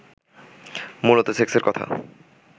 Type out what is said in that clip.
মূলত সেক্সের কথা